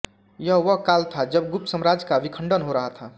यह वह काल था जब गुप्त साम्राज्य का विखण्डन हो रहा था